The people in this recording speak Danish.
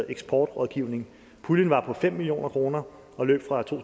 eksportrådgivning puljen var på fem million kroner og løb fra to